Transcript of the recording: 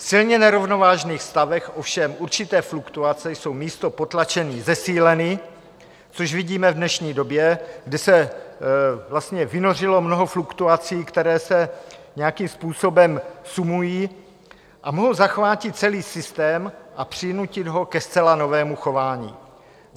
V silně nerovnovážných stavech ovšem určité fluktuace jsou místo potlačení zesíleny, což vidíme v dnešní době, kde se vlastně vynořilo mnoho fluktuací, které se nějakým způsobem sumují a mohou zachvátit celý systém a přinutit ho ke zcela novému chování.